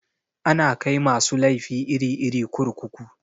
Ana kai masu laifi iri-iri kurkuku.